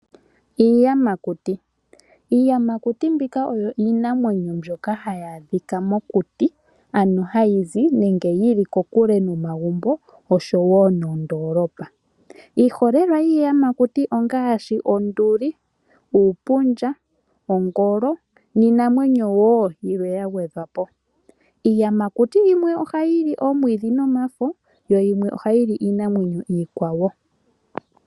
Iiyamakuti, iiyamakuti mbika oyo iinamwenyo mbyoka ha yaadhika mokuti. Ano hayi zi nenge yili kokule nomagumbo oshowo nondoolopa. Iiholelwa yiiyamakuti ongaashi onduli, uupundja, ongolo, niinamwenyo wo yilwe ya gwedhwapo. Iiyamakuti yimwe ohayi li omwiidhi nomafo yo yimwe oha yili iinamwenyo iikwawo.